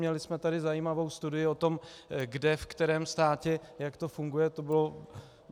Měli jsme tady zajímavou studii o tom, kde, ve kterém státě jak to funguje.